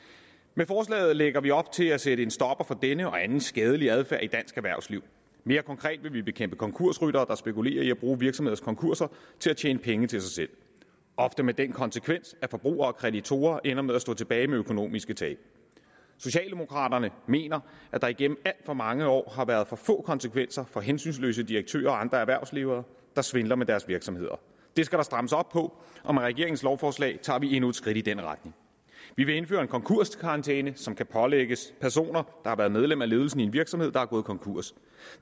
med forslaget lægger vi op til at sætte en stopper for denne og anden skadelig adfærd i dansk erhvervsliv mere konkret vil vi bekæmpe konkursryttere der spekulerer i at bruge virksomheders konkurser til at tjene penge til sig selv ofte med den konsekvens at forbrugere og kreditorer ender med at stå tilbage med økonomiske tab socialdemokraterne mener at der igennem alt for mange år har været for få konsekvenser for hensynsløse direktører og andre erhvervsledere der svindler med deres virksomheder det skal der strammes op på og med regeringens lovforslag tager vi endnu et skridt i den retning vi vil indføre en konkurskarantæne som kan pålægges personer der har været medlem af ledelsen i en virksomhed der er gået konkurs